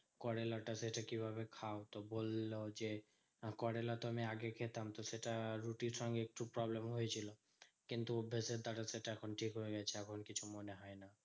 করোলাটা সেটা কিভাবে খাও? তো বললো যে, করোলা তো আমি আগে খেতাম তো সেটা রুটির সঙ্গে একটু problem হয়েছিল। কিন্তু অভ্যেসের দ্বারা সেটা এখন ঠিক হয়ে গেছে বলে কিছু মনে হয় না।